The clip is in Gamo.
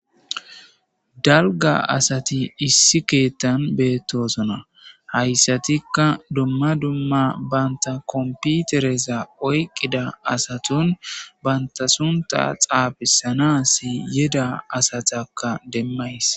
dalga asati issi keettan beettosona hayssatikka dumma dumma banta komputereza oyqqida asaton banta sunta xaabisanasi yida asatakka demmayis